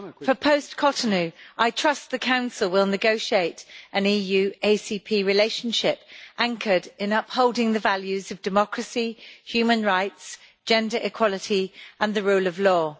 For post Cotonou, I trust the Council will negotiate an EU ACP relationship anchored in upholding the values of democracy, human rights, gender equality and the rule of law